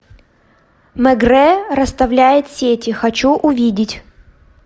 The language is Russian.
мегрэ расставляет сети хочу увидеть